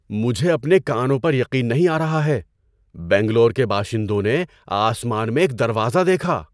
مجھے اپنے کانوں پر یقین نہیں آ رہا ہے! بنگلور کے باشندوں نے آسمان میں ایک دروازہ دیکھا!